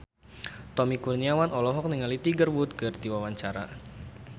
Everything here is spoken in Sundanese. Tommy Kurniawan olohok ningali Tiger Wood keur diwawancara